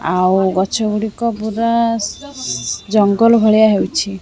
ଆଉ ଗଛ ଗୁଡ଼ିକ ପୁରା ସ୍ ଜଙ୍ଗଲ ଭଳିଆ ହେଉଛି।